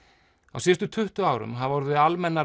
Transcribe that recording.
á síðustu tuttugu árum hafa orðið almennar